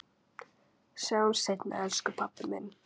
Sjáumst seinna elsku pabbi minn.